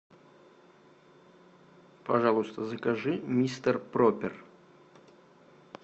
пожалуйста закажи мистер пропер